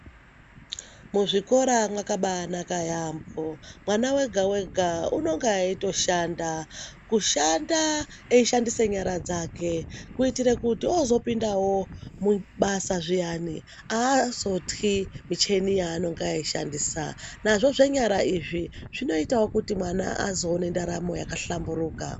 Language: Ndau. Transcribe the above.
Muzvikora mwakabaanaka yaampo mwana wega wega unenga eitoshanda kushanda eishandise nyara dzake kuitire kuti ozopindawo mubasa zviyani aazotyi mucheni yaanenga eishandisa nazvo zvenyara izvi zvinoitawo kuti mwana azoone ndaramo yakahlamburuka.